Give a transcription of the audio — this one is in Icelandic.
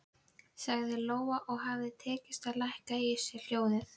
Fælinn fugl keldusvínið og fáir lifandi menn hafa séð hann.